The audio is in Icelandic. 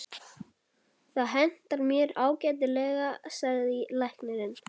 Það hentar mér ágætlega, sagði læknirinn.